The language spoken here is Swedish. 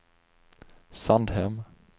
Sandhem